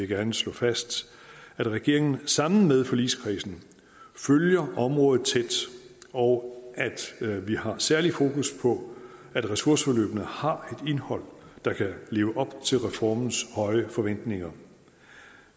gerne slå fast at regeringen sammen med forligskredsen følger området tæt og at vi har særlig fokus på at ressourceforløbene har et indhold der kan leve op til reformens høje forventninger